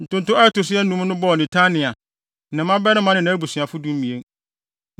Ntonto a ɛto so anum no bɔɔ Netania, ne ne mmabarima ne nʼabusuafo (12)